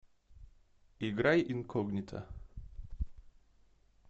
играй инкогнито